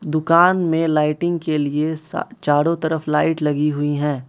दुकान में लाइटिंग के लिए सा चारों तरफ लाईट लगीं हुईं हैं।